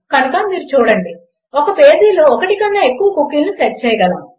కనుక మీరు చూడండి ఒక పేజీలో ఒకటి కన్నా ఎక్కువ కుకీలను సెట్ చేయగలము